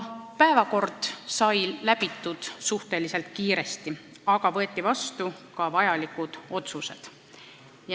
Päevakord läbiti suhteliselt kiiresti, aga võeti vastu ka vajalikud otsused.